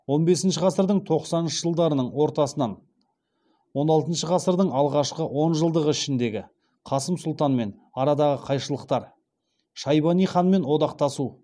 он бесінші ғасырдың тоқсаныншы жылдарының ортасынан он алтыншы ғасырдың алғашқы оныншы жылдығы ішіндегі қасым сұлтанмен арадағы қайшылықтар шайбани ханмен одақтасу